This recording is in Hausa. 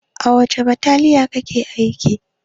A wace bataliya kake aiki?